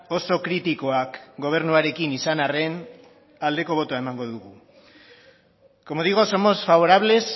oso kritikoak gobernuarekin izan arren aldeko botoa emango dugu como digo somos favorables